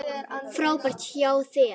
Frábært hjá þér!